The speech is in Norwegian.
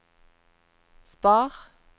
spar